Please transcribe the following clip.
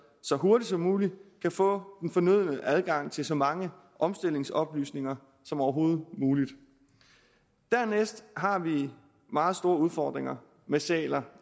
så hurtigt som muligt kan få den fornødne adgang til så mange omstillingsoplysninger som overhovedet muligt dernæst har vi meget store udfordringer med sæler